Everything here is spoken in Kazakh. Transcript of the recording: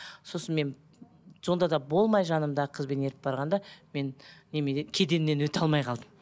сосын мен сонда да болмай жанымдағы қызбен еріп барғанда мен неменнен кеденнен өте алмай қалдым